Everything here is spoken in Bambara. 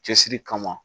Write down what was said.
Cɛsiri kama